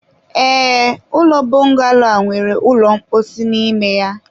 ee, ụlọ bọngalo a nwere ụlọ mposi n'ime ya.